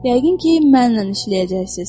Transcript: Yəqin ki, mənimlə işləyəcəksiniz.